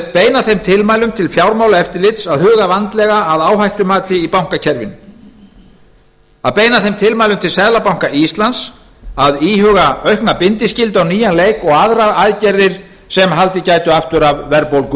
beina þeim tilmælum til fjármálaeftirlitsins að huga vandlega að áhættumati í bankakerfinu að beina þeim tilmælum til seðlabanka íslands að íhuga að aukna bindiskyldu á nýjan leik og aðrar aðgerðir sem haldið gætu aftur af verðbólgu